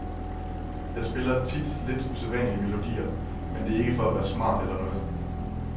Jeg spiller tit lidt usædvanlige melodier, men det er ikke for at være smart eller noget.